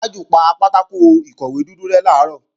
Tájù pa pátákò ìkọ̀wé dúdú rẹ́ làárọ̀